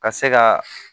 Ka se ka